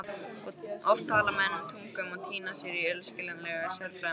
Oft tala menn tungum og týna sér í illskiljanlegu sérfræðimáli.